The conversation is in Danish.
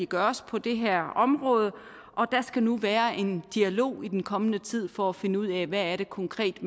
gøres på det her område og der skal nu være en dialog i den kommende tid for finde ud af hvad det konkret